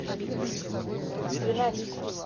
ринатику